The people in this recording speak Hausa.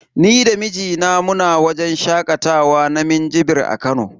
Ni da mijina muna wajen shakatawa na minjibir a Kano.